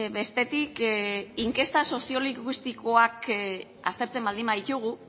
bestetik inkesta sozio linguistikoak aztertzen baldin baditugu